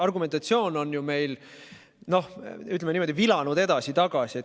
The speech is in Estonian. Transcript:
Argumentatsioon on meil, noh, ütleme niimoodi, vilanud edasi-tagasi.